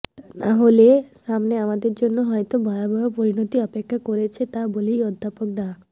তা না হলে সামনে আমাদের জন্য হয়ত ভয়াবহ পরিনতি অপেক্ষা করছে বলেও অধ্যাপক ডা